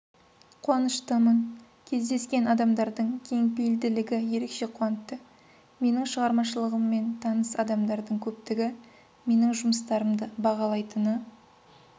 қуаныштымын кездескен адамдардың кең пейілділігі ерекше қуантты менің шығармашылығыммен таныс адамдардың көптігі менің жұмыстарымды бағалайтыны